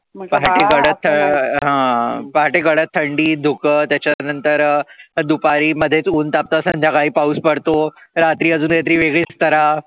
पहाटे कडक थंडी, धुकं, त्याच्या नंतर दुपारी मध्येच ऊन तापतं, संध्याकाळी पाऊस पडतो. रात्री अजून काही तरी वेगळीच तऱ्हा